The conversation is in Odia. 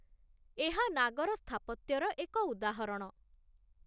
ଏହା ନାଗର ସ୍ଥାପତ୍ୟର ଏକ ଉଦାହରଣ।